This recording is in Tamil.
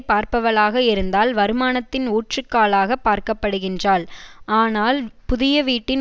பார்ப்பவளாக இருந்தால் வருமானத்தின் ஊற்றுக்காலாகப் பார்க்கப்படுகின்றாள் ஆனால் புதிய வீட்டின்